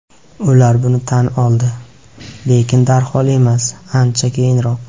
Ular buni tan oldi, lekin darhol emas, ancha keyinroq.